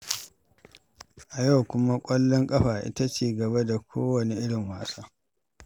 A yau kuma, ƙwallon ƙafa ita ce gaba da kowane irin wasa.